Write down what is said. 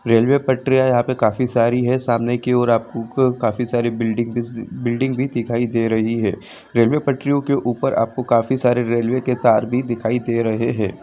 Railway पटरियां यहां पे काफी सारी है सामने की और आपको काफी सारी बिल--बिल्डिंग भी दिखाई दे रही है रेलवे पटरियों के ऊपर आपको काफी सारे रेलवे के तार भी दिखाई दे रहे है।